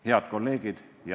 Head kolleegid!